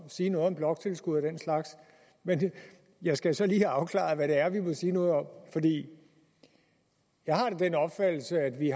sige noget om bloktilskud og den slags men jeg skal så lige have afklaret hvad det er vi må sige noget om jeg har da den opfattelse at vi